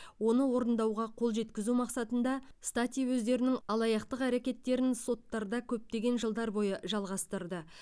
оны орындауға қол жеткізу мақсатында стати өздерінің алаяқтық әрекеттерін соттарда көптеген жылдар бойы жалғастырды